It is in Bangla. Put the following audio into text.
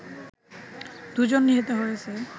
দু'জন নিহত হয়েছে